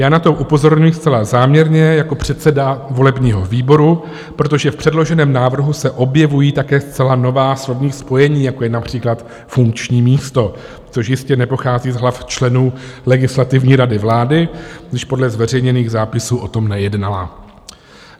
Já na to upozorňuji zcela záměrně jako předseda volebního výboru, protože v předloženém návrhu se objevují také zcela nová slovní spojení, jako je například funkční místo, což jistě nepochází z hlav členů Legislativní rady vlády, když podle zveřejněných zápisů o tom nejednala.